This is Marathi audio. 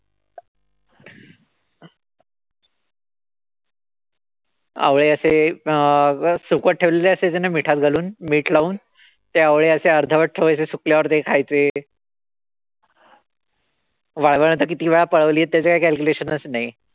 आवळे असे अं सुकत ठेवलेले असायचे ना मिठात घालून. मीठ लावून ते असे अर्धवट ठेवायचे. सुकल्यावर ते अशे खायचे. वाळवणं तर किती वेळा पळवळीये त्याच तर काई calculation नाई.